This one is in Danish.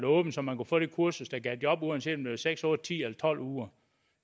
åbent så man kunne få det kursus der gav job uanset om det seks otte ti eller tolv uger